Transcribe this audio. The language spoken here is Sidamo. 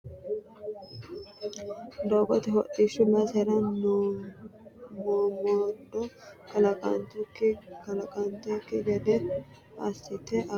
Doogote hodhishshu basera mommodo kalaqantanokki gede assite agartano ollu qoriqorano tene qorqorano mootimma seekkite irko assitunsaro faayya lawanoe anera kurira baxxitino kaa'lo heedhunsaro yaate geeshshira.